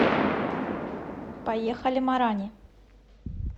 поехали марани